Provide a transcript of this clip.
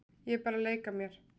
Ég er bara að leika mér.